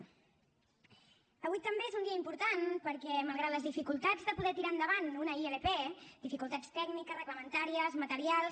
avui també és un dia important perquè malgrat les dificultats de poder tirar endavant una ilp dificultats tècniques reglamentàries materials